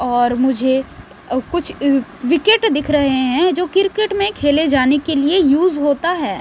और मुझे कुछ विकेट दिख रहे हैं जो किरकेट में खेले जाने के लिए यूज होता है।